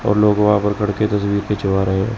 और लोग वहां पे खड़े के तस्वीर खिंचवा रहे--